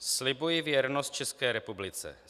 "Slibuji věrnost České republice.